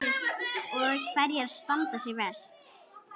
Og hverjar standa sig verst?